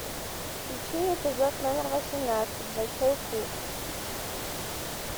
включи эпизод номер восемнадцать большой куш